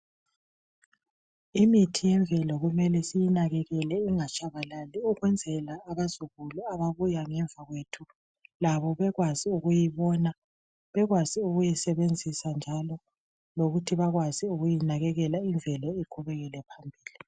Imithi yemvelo kumele siyinakekele ingatshabalali ,ukwenzela abazukulu ababuya ngemva kwethu labo bekwazi ukuyibona ,bekwazi ukuyisebenzisa njalo lokuthi bakwazi ukuyinakekela imvelo iqhubekele phambili.